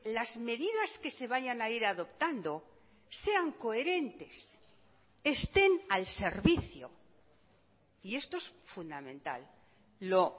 las medidas que se vayan a ir adoptando sean coherentes estén al servicio y esto es fundamental lo